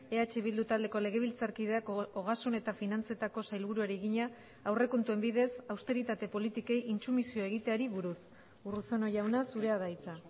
eh bildu taldeko legebiltzarkideak ogasun eta finantzetako sailburuari egina aurrekontuen bidez austeritate politikei intsumisio egiteari buruz urruzuno jauna zurea da hitza